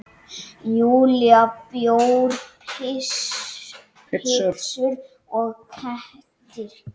Júlía: Bjór, pitsur og kettir.